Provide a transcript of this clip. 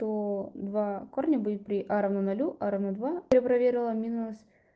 то два корня будет при а равно нолю а равно два я проверила минус